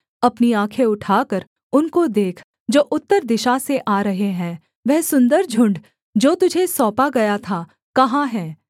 अपनी आँखें उठाकर उनको देख जो उत्तर दिशा से आ रहे हैं वह सुन्दर झुण्ड जो तुझे सौंपा गया था कहाँ है